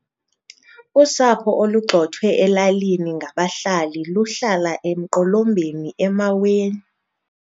Usapho olugxothwe elalini ngabahlali luhlala emqolombeni emaweni.